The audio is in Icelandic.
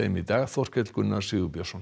í dag Þorkell Gunnar Sigurbjörnsson